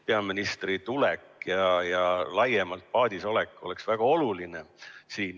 Peaministri tulek ja laiemalt paadis olek on väga oluline.